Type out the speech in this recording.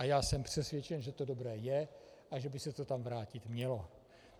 A já jsem přesvědčen, že to dobré je a že by se to tam vrátit mělo.